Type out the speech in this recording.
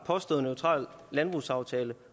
påstået neutral landbrugsaftale